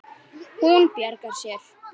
Hún bjargar sér.